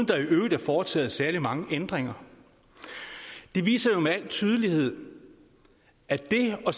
der i øvrigt er foretaget særlig mange ændringer det viser jo med al tydelighed at det at